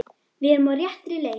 Við erum á réttri leið